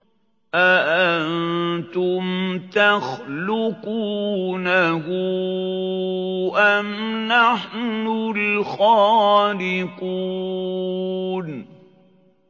أَأَنتُمْ تَخْلُقُونَهُ أَمْ نَحْنُ الْخَالِقُونَ